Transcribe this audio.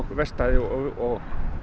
verkstæði og